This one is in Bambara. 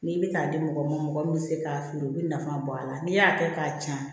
N'i bɛ k'a di mɔgɔ ma mɔgɔ min bɛ se k'a feere u bɛ nafa bɔ a la n'i y'a kɛ k'a ci